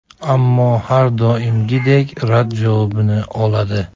Ammo har doimgidek rad javobini oladi.